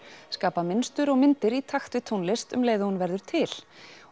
skapa mynstur og myndir í takt við tónlist um leið og hún verður til